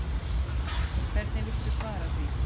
Hvernig viltu svara því?